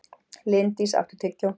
Líndís, áttu tyggjó?